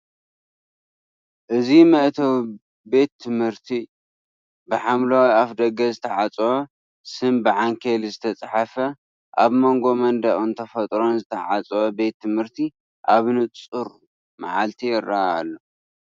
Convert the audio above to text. እዚ መእተዊ ቤት ትምህርቲ፡ ብሓምላይ ኣፍደገ ዝተዓጽወ፡ ስም ብዓንኬል ዝተጻሕፈ። ኣብ መንጎ መንደቕን ተፈጥሮን ዝተዓጽወ ቤት ትምህርቲ ኣብ ንጹር መዓልቲ ይርአ ኣሎ።